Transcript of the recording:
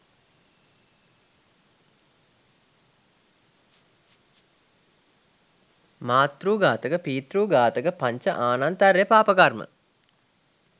මාතෘ ඝාතක, පිතෘ ඝාතක පංච ආනන්තර්ය පාපකර්ම